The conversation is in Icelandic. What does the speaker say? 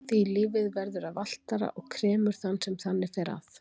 Því lífið verður að valtara og kremur þann sem þannig fer að.